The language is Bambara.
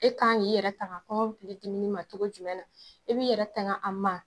E kan ik'i yɛrɛ tanga kɔmɔkili dimili ma cogo jumɛn na, i bɛ yɛrɛ tanga a ma.